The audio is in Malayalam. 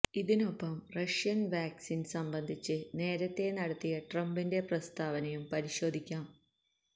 ഇതിനൊപ്പം റഷ്യന് വാക്സിന് സംബന്ധിച്ച് നേരത്തെ നടത്തിയ ട്രംപിന്റെ പ്രസ്താവനയും പരിശോധിക്കാം